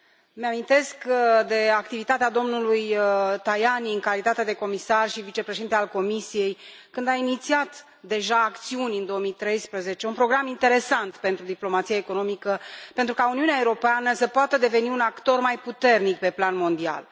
Îmi amintesc de activitatea domnului Tajani în calitate de comisar și vicepreședinte al comisiei, când a inițiat deja acțiuni în 2013, un program interesant pentru diplomația economică pentru ca Uniunea Europeană să poată deveni un actor mai puternic pe plan mondial.